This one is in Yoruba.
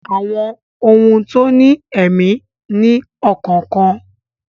Àwọn ohun tó ní èmí ní ọkàn kan